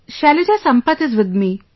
Shailaja Sampath is with me